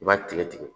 I b'a tigɛ tigɛ